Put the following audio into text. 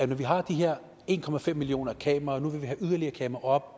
vi har de her en millioner kameraer og nu vil vi have yderligere kameraer